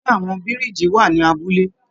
Ṣe àwọn biriji wà ní abúlé?